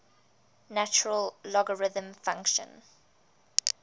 natural logarithm function